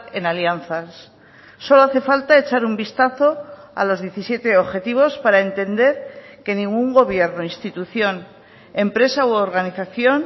en alianzas solo hace falta echar un vistazo a los diecisiete objetivos para entender que ningún gobierno institución empresa u organización